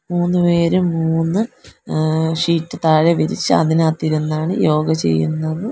മൂന്നുപേരും മൂന്ന് ആഹ് ഷീറ്റ് താഴെ വിരിച്ച് അതിനാത്തിരുന്നാണ് യോഗ ചെയ്യുന്നത്.